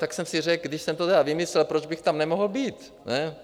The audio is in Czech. Tak jsem si řekl, když jsem to tedy vymyslel, proč bych tam nemohl být?